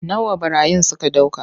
Nawa ɓarayin suka ɗauka.